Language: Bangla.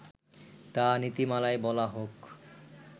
তা নীতিমালায় বলা হোক